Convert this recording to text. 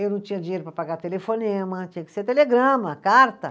Eu não tinha dinheiro para pagar telefonema, tinha que ser telegrama, carta.